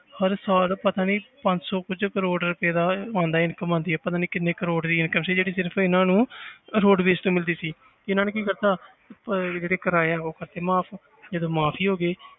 ਹਰ ਸਾਲ ਪਤਾ ਨੀ ਪੰਜ ਸੌ ਕੁੱਝ ਕਰੌੜ ਰੁਪਏ ਦਾ ਉਹ ਆਉਂਦਾ income ਆਉਂਦੀ ਹੈ ਪਤਾ ਨੀ ਕਿੰਨੇ ਕਰੌੜ ਦੀ income ਸੀ ਜਿਹੜੀ ਸਿਰਫ਼ ਇਹਨਾਂ ਨੂੰ ਰੋਡਵੇਜ ਤੋਂ ਮਿਲਦੀ ਸੀ, ਇਹਨਾਂ ਨੇ ਕੀ ਕਰ ਦਿੱਤਾ ਪ~ ਜਿਹੜੇ ਕਿਰਾਏ ਆ ਉਹ ਕਰ ਦਿੱਤੇ ਮਾਫ਼ ਜਦੋਂ ਮਾਫ਼ ਹੀ ਹੋ ਗਏ।